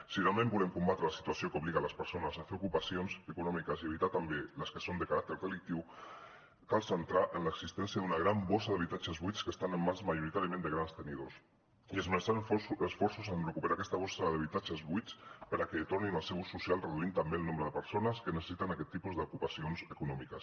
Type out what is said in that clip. si realment volem combatre la situació que obliga les persones a fer ocupacions econòmiques i evitar també les que són de caràcter delictiu cal centrar se en l’existència d’una gran bossa d’habitatges buits que estan en mans majoritàriament de grans tenidors i esmerçar esforços en recuperar aquesta bossa d’habitatges buits perquè tornin al seu ús social reduint també el nombre de persones que necessiten aquest tipus d’ocupacions econòmiques